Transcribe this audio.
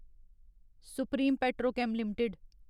supreme Petrochem limited